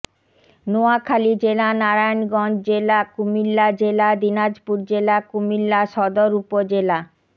নোয়াখালী জেলা নারায়ণগঞ্জ জেলা কুমিল্লা জেলা দিনাজপুর জেলা কুমিল্লা সদর উপজেলা